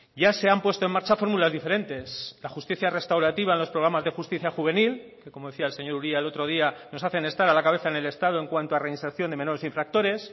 ya se han puesto en marcha fórmulas diferentes la justicia restaurativa en los programas de justicia juvenil que como decía el señor uria el otro día nos hacen estar a la cabeza en el estado en cuanto a reinserción de menores infractores